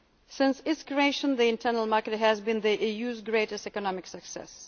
growth. Since its creation, the internal market has been the EU's greatest economic